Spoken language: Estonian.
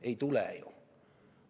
Ei tulene ju.